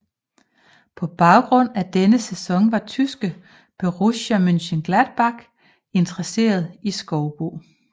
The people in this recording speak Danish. På baggrund af denne sæson var tyske Borussia Mönchengladbach interesseret i Skoubo